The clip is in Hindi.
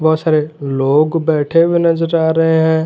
बहोत सारे लोग बैठे हुए नजर आ रहे हैं।